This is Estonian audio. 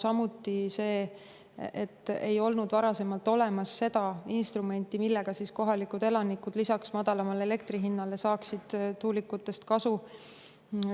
Samuti see, et varasemalt ei olnud olemas instrumenti, mille abil saaksid kohalikud elanikud lisaks madalamale elektri hinnale tuulikutest kasu.